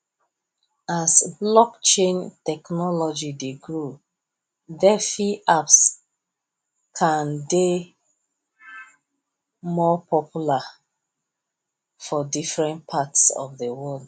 as blockchain technology dey grow defi apps kan dey more popular for different parts of the world